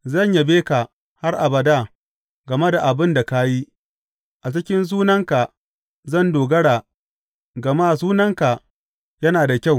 Zan yabe ka har abada game da abin da ka yi; a cikin sunanka zan dogara, gama sunanka yana da kyau.